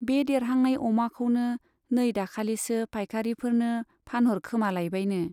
बे देरहांनाय अमाखौनो नै दाखालिसो पाइकारिफोरनो फानहरखोमालायबायनो।